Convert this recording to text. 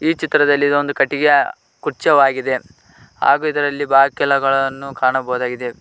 ಈ ಚಿತ್ರದಲ್ಲಿ ಇದೊಂದು ಕಟ್ಟಿಗೆಯ ಗುಚ್ಚವಾಗಿದೆ ಹಾಗು ಇದರಲ್ಲಿ ಬಾಕಿಲಗಳನ್ನು ಕಾಣಬಹುದಾಗಿದೆ.